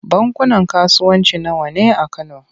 Bankunan kasuwanci nawa ne a Kano?